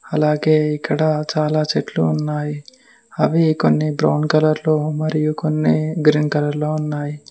అలాగే ఇక్కడ చాలా చెట్లు ఉన్నాయి అవి కొన్ని బ్రౌన్ కలర్ లో మరియు కొన్ని గ్రీన్ కలర్ లో ఉన్నాయి.